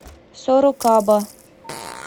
сорокаба